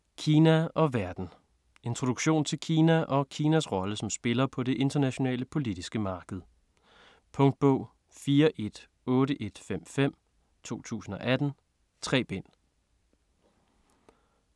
Kina og verden Introduktion til Kina og Kinas rolle som spiller på det internationale politiske marked. Punktbog 418155 2018. 3 bind.